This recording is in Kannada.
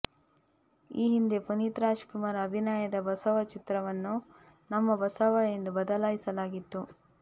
ಈ ಹಿಂದೆ ಪುನೀತ್ ರಾಜ್ ಕುಮಾರ್ ಅಭಿನಯದ ಬಸವ ಚಿತ್ರವನ್ನು ನಮ್ಮ ಬಸವ ಎಂದು ಬದಲಾಯಿಸಲಾಗಿತ್ತು